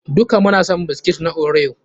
Duka muna son biskit na Oreo.